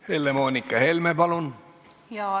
Helle-Moonika Helme, palun!